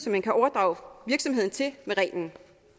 man kan overdrage virksomheden til med reglen